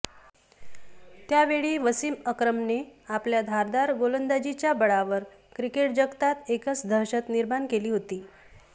त्यावेळी वसीम अक्रमने आपल्या धारदार गोलंदाजीच्या बळावर क्रिकेट जगतात एकच दहशत निर्माण केली होती